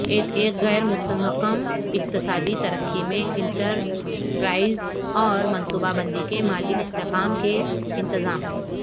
ایک غیر مستحکم اقتصادی ترقی میں انٹرپرائز اور منصوبہ بندی کے مالی استحکام کے انتظام